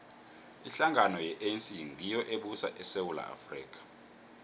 ihlangano ye anc ngiyo ebusa isewula afrika